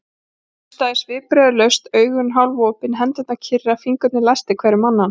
Hann hlustaði svipbrigðalaust, augun hálfopin, hendurnar kyrrar, fingurnir læstir hver um annan.